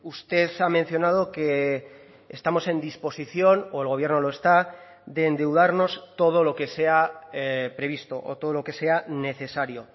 usted ha mencionado que estamos en disposición o el gobierno lo está de endeudarnos todo lo que sea previsto o todo lo que sea necesario